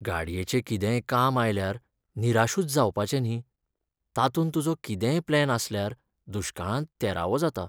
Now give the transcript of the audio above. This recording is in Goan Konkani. गाडयेचें कितेंय काम आयल्यार निराशूच जावपाचें न्ही, तातूंत तुजो कितेंय प्लॅन आसल्यार दुश्काळांत तेरावो जाता.